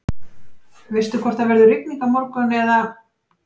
veistu hvort það verður rigning á morgun eða